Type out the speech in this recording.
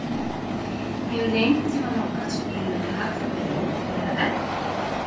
Hefur þig einhvern tímann langað til að spila með Hallberu eða Eddu?